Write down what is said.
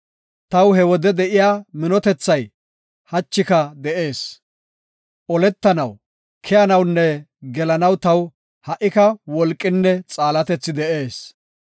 Taw he wode de7iya minotethay hachika de7ees. Oletanaw, keyanawunne gelanaw taw ha77ika wolqinne xaalatethi de7ees.